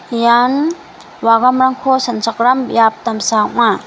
ian wagamrangko sanchakram biap damsa ong·a.